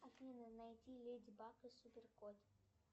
афина найди леди баг и супер кот